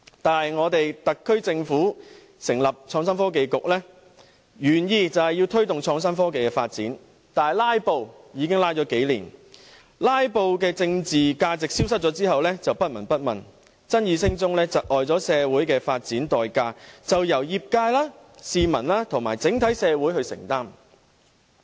但是，香港特區政府成立創新及科技局，原意是推動創新科技的發展，但"拉布"已經拖拉了數年，在"拉布"的政治價值消失後就不聞不問，爭議聲中被窒礙的社會發展代價便由業界、市民和整體社會承擔。